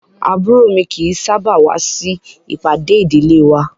Àbúrò mi kì í sábà wá sí ìpàdé ìdílé wa